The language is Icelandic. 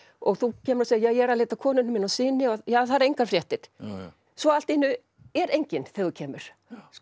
og þú kemur og segir ég er að leita að konunni minni og syni já það eru engar fréttir svo allt í einu er enginn þegar þú kemur